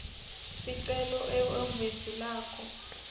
sicelo ehhovisi lakho